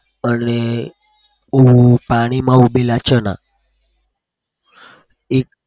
પાણીમાં ઉબેલા ચણા.